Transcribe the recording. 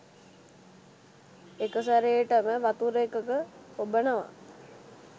එකසැරේටම වතුර එකක ඔබනව.